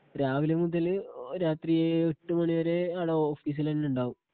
രാവിലെ മുതല് രാത്രി ഏ എട്ടുമണി വരെ ആടെ ഓഫീസില് തന്നെയുണ്ടാകും.